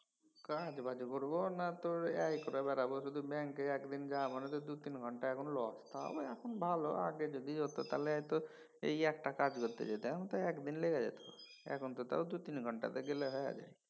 কাজ বাজ করবো না তোর এই করে বেড়াবো শুধু ব্যাঙ্কে একদিন যাওয়া মানেদুই তিন ঘণ্টা একদম loss তাও এখন ভালো। আগে যদি হত তাহলে এই একটা কাজ করতে যেতাম তো একদিন লেগে জেত। এখন তো তাও দু তিন ঘণ্টাতে হয় যায়।